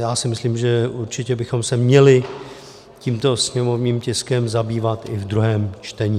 Já si myslím, že určitě bychom se měli tímto sněmovním tiskem zabývat i ve druhém čtení.